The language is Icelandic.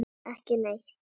Ekki neitt